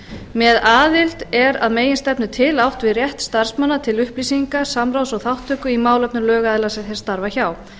með aðild er að meginstefnu til átt við rétt starfsmanna til upplýsinga samráðs og þátttöku í málefnum lögaðila sem þeir starfa hjá